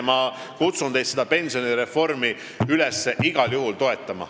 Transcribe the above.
Ma kutsun teid üles pensionireformi igal juhul toetama.